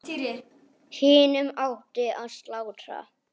Hinum átti að slátra.